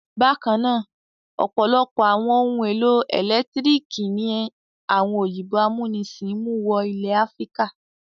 Bákan náà, ọ̀pọ̀lọpọ̀ àwọn ohun-èlò ẹ̀lẹ́tíríkì ni àwọn òyìnbó amúnisìn mú wọ ilẹ̀ Áfíríkà.